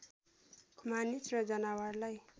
मानिस र जनावरलाई